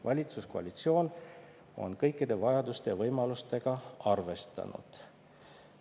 Valitsuskoalitsioon on kõikide vajaduste ja võimalustega arvestanud.